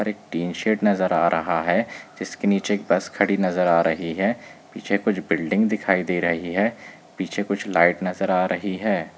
--और एक tin shed नजर आ रहा है जिसके नीचे एक बस खड़ी नजर आ रही है पीछे कुछ बिल्डिंग दिखाई दे रही है पीछे कुछ लाइट नजर आ रही है ।